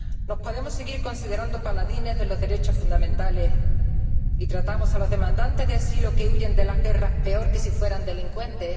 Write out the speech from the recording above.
¿Nos podemos seguir considerando paladines de los derechos fundamentales si tratamos a los solicitantes de asilo que huyen de las guerras peor que si fueran delincuentes?